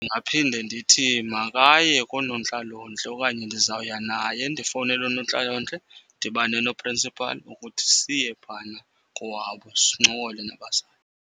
Ndingaphinde ndithi makaye koonontlalontle okanye ndizawuya naye. Ndifowunele oonontlalontle, ndidibane noprinsipali ukuthi siye phana kowabo sincokole nabazali.